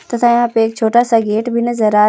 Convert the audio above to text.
तथा यहां पे एक छोटा सा गेट भी नजर आ--